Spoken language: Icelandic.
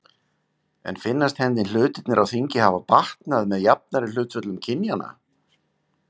En finnast henni hlutirnir á þingi hafa batnað með jafnari hlutföllum kynjanna?